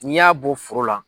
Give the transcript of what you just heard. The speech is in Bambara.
N'i y'a bɔ foro la